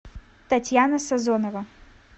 татьяна сазонова